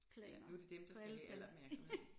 Ja nu det dem der skal have al opmærksomhed